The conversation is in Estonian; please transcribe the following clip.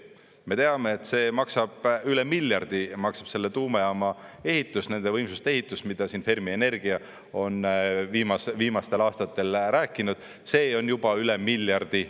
Me teame, et üle miljardi maksab selle tuumajaama ehitus, nende võimsuste ehitus, mida siin Fermi Energia on viimastel aastatel rääkinud, see on juba üle miljardi.